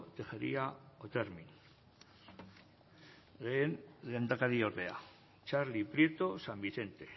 tejeria otermin lehen lehendakariordea txarli prieto san vicente